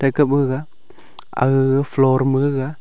kaba ga aga floor ma gaga--